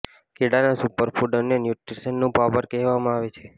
કેળાને super food અને ન્યૂટ્રીશનનું power house કહેવામાં આવે છે